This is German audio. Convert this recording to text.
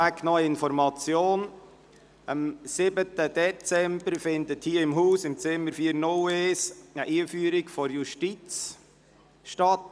Vorweg noch eine Information: Am 7. Dezember findet hier im Rathaus, im Zimmer C401, eine ganztägige Einführung von der Justiz statt;